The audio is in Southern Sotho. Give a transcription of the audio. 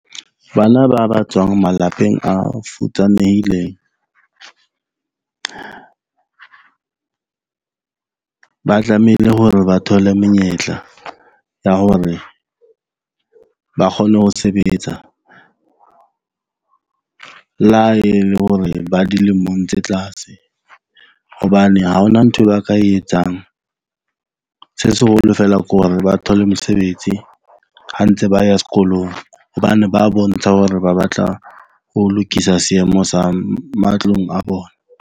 Bana ba ba tswang malapeng a futsanehileng ba tlamehile hore ba thole menyetla ya hore ba kgone ho sebetsa le ha e le hore ba dilemong tse tlase. Hobane ha hona nthwe ba ka e etsang. Se seholo feela ke hore ba thole mosebetsi ha ntse ba ya sekolong. Hobane ba bontsha hore ba batla ho lokisa seemo sa matlong a bona.